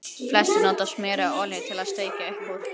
Flestir nota smjör eða olíu til að steikja upp úr.